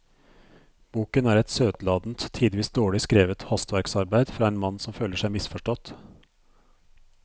Boken er et søtladent, tidvis dårlig skrevet hastverksarbeid fra en mann som føler seg misforstått.